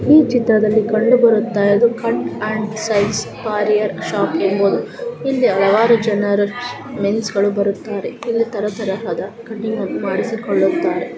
ಈ ಚಿತ್ರದಲ್ಲಿ ಕಂಡುಬರುತ್ತ ಇರುವುದು cut and slice barber slice shop ಇಲ್ಲಿ ಹಲವಾರು ಜನರು ಮೆನ್ಸ್ ಬರುತ್ತಾರೆ ಇಲ್ಲಿ ತರ ತರಹದ ಕಟ್ಟಿಂಗಣ್ಣ ಮಾಡಿಸಿಕೊಳ್ಳುತ್ತಾರೆ.